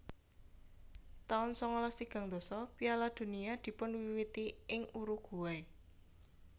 taun sangalas tigang dasa Piala Dunia dipunwiwiti ing Uruguay